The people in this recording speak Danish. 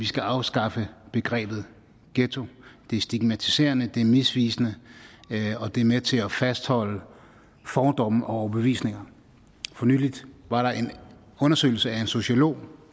skal afskaffe begrebet ghetto det er stigmatiserende det er misvisende og det er med til at fastholde fordomme og overbevisninger for nylig var der en undersøgelse af en sociolog